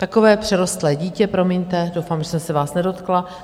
Takové přerostlé dítě, promiňte, doufám, že jsem se vás nedotkla.